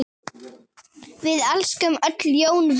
Við elskum öll Jón Viðar.